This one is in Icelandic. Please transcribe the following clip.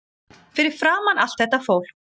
Fyrir framan allt þetta fólk.